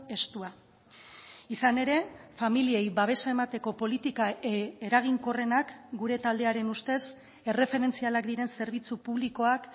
estua izan ere familiei babesa emateko politika eraginkorrenak gure taldearen ustez erreferentzialak diren zerbitzu publikoak